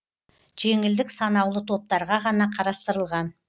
жеңілдік санаулы топтарға ғана қарастырылған